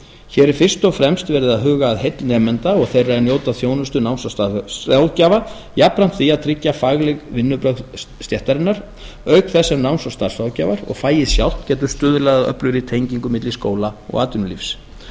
hér er fyrst og fremst verið að huga að heill nemenda og þeirra er njóta þjónustu náms og starfsráðgjafa jafnframt því að tryggja fagleg vinnubrögð stéttarinnar auk þess sem náms og starfsráðgjafar og fagið sjálft getur stuðlað að öflugri tengingu milli skóla og atvinnulífs